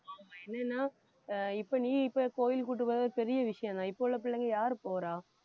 ஆமா என்னன்னா ஆஹ் இப்ப நீ இப்ப கோயிலுக்கு கூட்டிட்டு போறது பெரிய விஷயம்தான் இப்ப உள்ள பிள்ளைங்க யாரு போறா